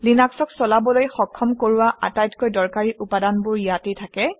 লিনাক্সক চলিবলৈ সক্ষম কৰোৱা আটাইতকৈ দৰকাৰী উপাদানবোৰ ইয়াতে থাকে